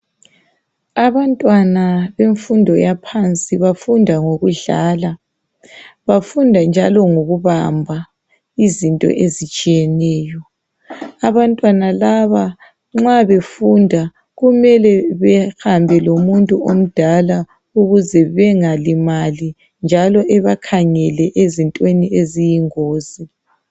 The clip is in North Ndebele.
Abantwana bemfundo yaphansi bafunda ngokudlala, bafunda njalo ngokubamba izinto ezitshiyeneyo, abantwana laba nxa befunda kumele behambe lomuntu omdala ukuze bengalimali njalo ebakhangele ezintweni eziyingozi.